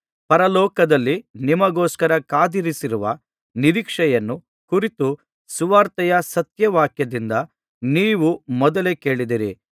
ಪರಲೋಕದಲ್ಲಿ ನಿಮಗೋಸ್ಕರ ಕಾದಿರಿಸಿರುವ ನಿರೀಕ್ಷೆಯನ್ನು ಕುರಿತು ಸುವಾರ್ತೆಯ ಸತ್ಯವಾಕ್ಯದಿಂದ ನೀವು ಮೊದಲೇ ಕೇಳಿದ್ದಿರಿ